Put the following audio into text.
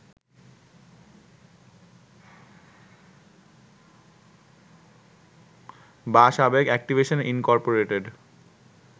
বা সাবেক Activision Incorporated